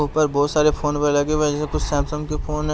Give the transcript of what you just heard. ऊपर बहुत सारे फोन व लगे हुए है जिसमें कुछ सैमसंग के फोन हैं।